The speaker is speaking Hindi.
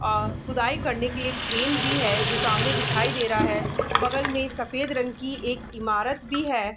और खुदाई करने के लिए क्रेन भी है जो सामने दिखाई दे रहा है बगल में सफ़ेद रंग की एक इमारत भी है।